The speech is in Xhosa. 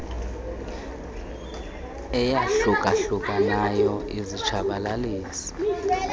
eyahluka hlukanayo izitshabalalisi